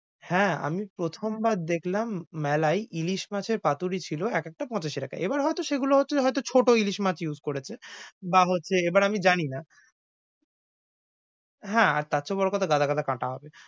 হ্যাঁ, আমি প্রথমবার দেখলাম মেলায় ইলিস মাছের পাতুরি ছিল একেকটা পঁচাশি টাকাই। এবার হয়তো সেগুলো হচ্ছে হয়তো ছোট ইলিশ মাছ করেছে। বা হচ্ছে এবার আমি জানিনা হ্যাঁ, আর তারচেয়ে বড় কথা গাদা গাদা কাঁটা হবে।